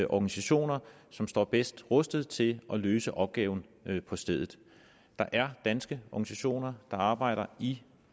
organisationer som står bedst rustet til at løse opgaven på stedet der er danske organisationer der arbejder i